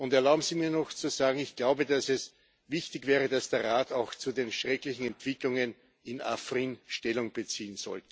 Erlauben Sie mir noch zu sagen Ich glaube, dass es wichtig wäre, dass der Rat auch zu den schrecklichen Entwicklungen in Afrin Stellung bezieht.